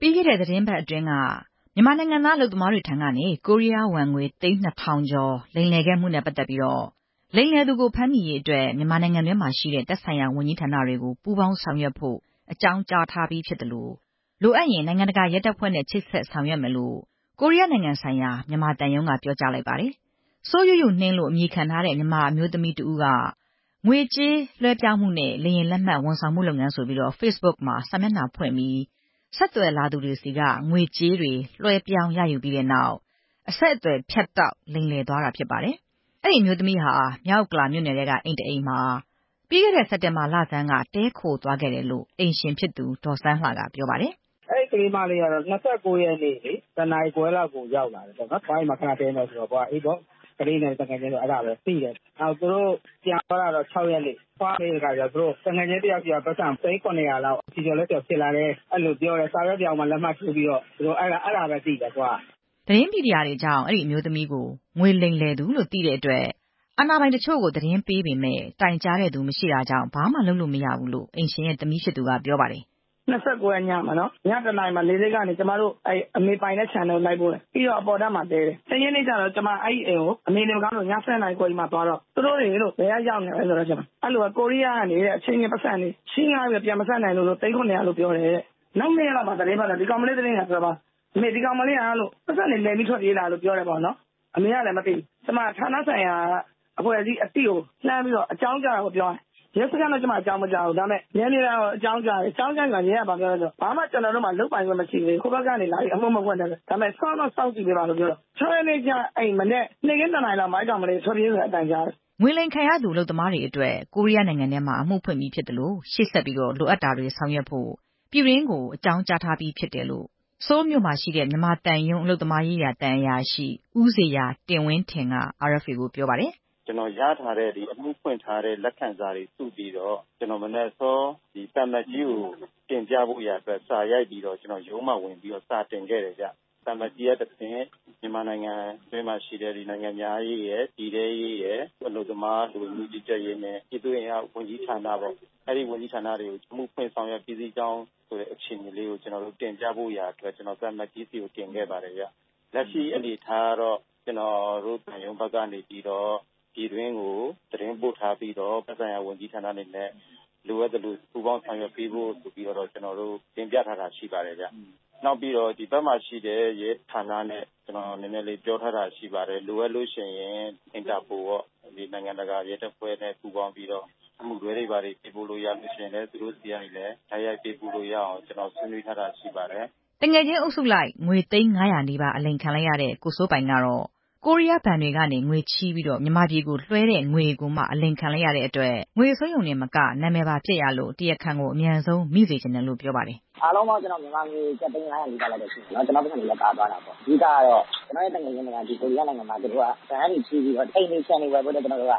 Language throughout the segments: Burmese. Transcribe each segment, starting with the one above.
ပြီးခဲ့တဲ့ သီတင်းပတ်အတွင်းက ဖြစ်ပေါ်ခဲ့တဲ့ တောင်ကိုးရီးယားနိုင်ငံနေ မြန်မာနိုင်ငံသား အလုပ်သမားတွေဆီကနေ ကိုရီးယားဝမ်ငွေ သိန်း ၂ဝဝဝ ကျော်လောက် လိမ်လည်မှုနဲ့ ပတ်သက်ပြီး လိမ်လည်သူကို ဖမ်းမိရေးအတွက် မြန်မာနိုင်ငံတွင်းမှာရှိတဲ့ သက်ဆိုင်ရာဝန်ကြီးဌာနတွေကို ပူးပေါင်းဆောင်ရွက်ဖို့ အကြောင်းကြားထားပြီးဖြစ်သလို လိုအပ်ရင် နိုင်ငံတကာ ရဲတပ်ဖွဲ့နဲ့ ချိတ်ဆက်ဆောင်ရွက်မယ်လို့ ကိုးရီးယားနိုင်ငံဆိုင်ရာ မြန်မာသံရုံးက ပြောကြားလိုက်ပါတယ်။ စိုးယုယုနှင်း လို့ အမည်ခံထားတဲ့ မြန်မာအမျိုးသမီးတဦးက ငွေကြေးလွဲှပြောင်းမှုနဲ့ လေယာဉ်လက်မှတ်ဝန်ဆောင်မှုလုပ်ငန်းဆိုပြီး ဖေ့စ်ဘွတ်မှာ စာမျက်နှာဖွင့်ပြီး ဆက်သွယ်လာသူတွေထံက ငွေကြေးတွေ လွှဲပြောင်း ရယူပြီးတဲ့နောက် အဆက်အသွယ်ဖြတ်တောက်ကာ လိမ်လည်သွားခဲ့တာဖြစ်ပါတယ်။ အဲဒီအမျိုးသမီးဟာ မြောက်ဥက္ကလာမြို့နယ်ထဲက အိမ်တအိမ်ထဲမှာ ပြီးခဲ့တဲ့ စက်တင်ဘာလဆန်းက တည်းခိုသွားခဲ့တယ်လို့ အိမ်ရှင်ဖြစ်သူ ဒေါ်စန်းလှကပြောပါတယ်။ “အဲဒီကလေးမလေးက သြဂုတ်လ ၂၉ ရက်နေ့ ၁ နာရီခွဲလောက်ကိုရောက်လာတယ်။ အဘွားအိမ်မှာ ခဏတည်းမယ်ဆိုတော့။ အဘွားကလည်း အေးပေါ့၊ ကလေးတွေနဲ့ သူငယ်ချင်းဆိုတော့ သိတယ်။ သူတို့ပြန်သွားတာတော့ စက်တင်ဘာ ၆ ရက်နေ့။ အဘွားကမေးတော့ သူတို့ သူငယ်ချင်းတယောက်ဆီက ပိုက်ဆံ သိန်း ၇ဝဝ လောက် ခြေချော်လက်ချော်ဖြစ်လာတယ်။ အဲလိုပြောတယ်။ စာရွက်ပြောင်မှာ လက်မှတ်ထိုးပြီးတော့။ အဲဒါ။ အဲဒါပဲ သိတယ်။ “ သတင်းမီဒီယာတွေကြောင့် အဲဒီအမျိုးသမီးကို ငွေလိမ်လည်သူလို့ သိတဲ့အတွက် အာဏာပိုင်တချို့ကို သတင်းပေးပေမယ့် တိုင်ကြားတဲ့သူမရှိတာကြောင့် ဘာမှလုပ်လို့မရဘူးလို့ အိမ်ရှင်ရဲ့သမီးဖြစ်သူက ပြောပါတယ်။ “၂၉ ရက်နေ့ညမှာနော်။ ည ၁ နာရီမှာ လေဆိပ်ကနေ ကျမတို့ အမေပိုင်တဲ့ခြံထဲကို လိုက်ပို့တယ်။ ပြီးတော့ အပေါ်ထပ်မှာ တည်းတယ်။ ၁ ရက်နေ့ကျတော့ ကျမက အဲဒီအိမ်ကို အမေနေမကောင်းလို့ ည ၁၂ နာရီခွဲကြီးမှာ သွားတော့ သူတို့တွေ ဘယ်ကလဲဆိုတော့ အဲလိုပဲ ကိုးရီးယားကနေတဲ့ အချင်းချင်းပိုက်ဆံတွေ ချေးငှားပြီး ပြန်မဆပ်နိုင်လို့ သိန်း ၇ဝဝ လို့ပြောတယ်တဲ့။ နောက် ၂ ရက်လောက်မှာ သတင်းထွက်လာတော့ အမေ ဒီကောင်မလေးက ပိုက်ဆံတွေ လိမ်ပြီး ထွက်ပြေးလာတာလို့ ပြောတယ်ပေါ့နော်။ အမေကလည်း မသိဘူး။ ကျမက ဌာနဆိုင်ရာ အဖွဲ့အစည်းအသိကို လှမ်းပြီးတော့ အကြောင်းကြားတာပေါ့နော်၊ ပြောရရင်။ ရဲစခန်းတော့ အကြောင်းမကြားဘူး။ ဒါပေမယ့် နယ်မြေခံကို အကြောင်းကြားတယ်။ အကြောင်းကြားတော့ ရဲက ဘာပြောလဲဆိုတော့ ဘာမှ ကျနော်တို့မှာ လုပ်ပိုင်ခွင့်မရှိဘူးတဲ့။ ဟိုဘက်ကလာပြီး အမှုမဖွင့်တဲ့အတွက်တဲ့။ ဒါပေမယ့် စောင့်တော့ စောင့်ကြည့်ပေးပါတဲ့။ ၆ ရက်နေ့ နေ့ခင်း ၂ နာရီလောက်မှာ အဲဒီကောင်မလေးတွေ ထွက်ပြေးတယ်ဆိုတဲ့ အသံကြားတယ်။” ငွေလိမ်ခံရသူ အလုပ်သမားတွေအတွက် ကိုးရီးယားနိုင်ငံထဲမှာ အမှုဖွင့်ပြီးဖြစ်သလို ရှေ့ဆက်ပြီး လိုအပ်တာတွေကို ဆောင်ရွက်ဖို့ မြန်မာပြည်တွင်းကို အကြောင်းကြားထားပြီးဖြစ်တယ်လို့ ဆိုးလ်မြို့ရှိ မြန်မာသံရုံး အလုပ်သမားရေးရာ သံအရာရှိ ဦးဇေယျာတင်ဝင်းထင် က RFA ကို ပြောပါတယ်။ “ကျနော်ရထားတဲ့ အမှုဖွင့်ထားတဲ့ လက်ခံစာတွေစုပြီးတော့ မနက်စောစော သံအမတ်ကြီးကို တင်ပြဖို့ရာအတွက် စာရိုက်ပြီးတော့ ရုံးမှာဝင်ပြီး စာတင်ခဲ့တယ်ခင်ဗျ။ သံအမတ်ကြီးကတဆင့် မြန်မာနိုင်ငံတွင်းမှာရှိတဲ့ နိုင်ငံခြားရေးရယ်၊ ပြည်ထဲရေးရယ်၊ အလုပ်သမား လူဝင်မှုကြီးကြပ်ရေးနဲ့ ပြည်သူ့အင်အားဝန်ကြီးဌာန၊ အဲဒီဝန်ကြီးဌာနတွေကို အမှုဖွင့်ဆောင်ရွက်ပြီးစီးကြောင်းဆိုတာလေးကို တင်ပြဖို့ရာအတွက် ကျနော် သံအမတ်ကြီးဆီကို တင်ခဲ့ပါတယ်။ လက်ရှိအနေအထားကတော့ ကျနော်တို့သံရုံးအနေနဲ့ ပြည်တွင်းကို သတင်းပို့ထားပြီးတော့ သက်ဆိုင်ရာ ဝန်ကြီးဌာနတွေ လိုအပ်သလို ပူးပေါင်းဆောင်ရွက်ဖို့ဆိုပြီးတော့ တင်ပြထားတာရှိပါတယ်။ နောက်ပြီးတော့ ဒီဘက်မှာရှိတဲ့ ရဲဌာနနဲ့ ကျနော် နည်းနည်းလေးပြောထားတာ ရှိပါတယ်။ လိုအပ်လို့ရှိရင် Interpol ပေါ့။ နိုင်ငံတကာရဲတပ်ဖွဲ့နဲ့ ပူးပေါင်းပြီးတော့ အမှုတွဲတွေ ဘာတွေ ပေးပို့လို့ ရလို့ရှိရင်လည်း သူတို့ဆီကနေ တိုက်ရိုက်ပေးပို့လို့ရအောင် ကျနော်ဆွေးနွေးထားတာတွေ ရှိပါတယ်ခင်ဗျ။” သူငယ်ချင်းအုပ်စုလိုက် ငွေ သိန်း ၅ဝဝ နီးပါးအလိမ်ခံလိုက်ရတဲ့ ကိုစိုးပိုင်ကတော့ ကိုးရီးယားဘဏ်တွေကနေ ငွေချေးပြီး မြန်မာပြည်ကို လွှဲတဲ့ငွေတွေကိုမှ အလိမ်ခံလိုက်ရတာဖြစ်တဲ့အတွက် ငွေဆုံးရုံတင်မက နံမည်ပါပျက်ရလို့ တရားခံကို အမြန်ဆုံးမိစေချင်တယ်လို့ ပြောပါတယ်။ “အားလုံးပေါင်း မြန်မာငွေ ကျပ် သိန်း ၅ဝဝ နီးပါးလောက်တော့ရှိတယ်။ ကျနော့်ပိုက်ဆံတွေလည်းပါတာပေါ့။ အဓိကတော့ ကျနော့်သူငယ်ချင်းတွေက ဒီကိုးရီးယားနိုင်ငံမှာ ဘဏ်ကနေ ပိုက်ဆံချေးပြီးတော့ အိမ်တွေ ခြံတွေဝယ်ဖို့အတွက် ဟိုဟာ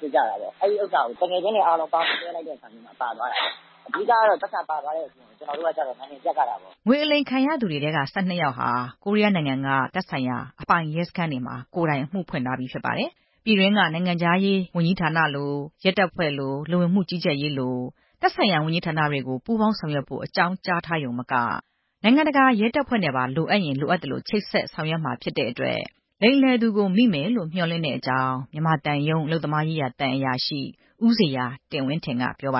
ဖြစ်ကြတာ။ သူငယ်ချင်းတွေအားလုံး လွှဲလိုက်တဲ့အချိန်မှာ ပါသွားတာ။ အဓိက ကတော့ ပိုက်ဆံပါသွားတဲ့အပြင် ကျနော်တို့ကတော့ နာမည်ပျက်ရတာပေါ့။” ငွေအလိမ်ခံရသူတွေထဲက ၁၂ ယောက်ဟာ တောင်ကိုးရီးယားနိုင်ငံက သက်ဆိုင်ရာအပိုင် ရဲစခန်းတွေမှာ ကိုယ်တိုင် အမှုဖွင့်ထားပြီးဖြစ်ပါတယ်။ ပြည်တွင်းက နိုင်ငံခြားရေးဝန်ကြီးဌာနလို၊ ရဲတပ်ဖွဲ့လို၊ လူဝင်မှုကြီးကြပ်ရေးလို သက်ဆိုင်ရာဝန်ကြီးဌာနတွေကိုလည်း ပူးပေါင်းဆောင်ရွက်ဖို့ အကြောင်းကြားထားရုံမက နိုင်ငံတကာရဲတပ်ဖွဲ့နဲ့ပါ လိုအပ်ရင် လိုအပ်သလို ချိတ်ဆက်ဆောင်ရွက်မှာဖြစ်တဲ့အတွက် လိမ်လည်သူကို မိမယ်လို့ မျှော်လင့်တဲ့အကြောင်း မြန်မာသံရုံးအလုပ်သမားရေးရာ သံအရာရှိ ဦးဇေယျာတင်ဝင်းထင်က ပြောပါ